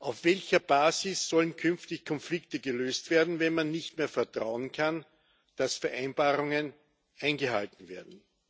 Auf welcher Basis sollen künftig Konflikte gelöst werden, wenn man nicht mehr darauf vertrauen kann, dass Vereinbarungen eingehalten werden?